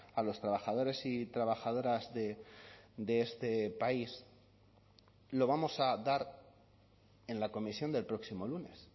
a los trabajadores y trabajadoras de este país lo vamos a dar en la comisión del próximo lunes